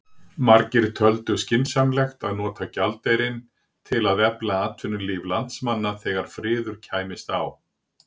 Margir töldu skynsamlegt að nota gjaldeyrinn til að efla atvinnulíf landsmanna þegar friður kæmist á.